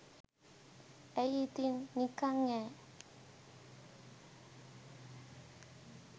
ඇයි ඉතින් නිකන් යෑ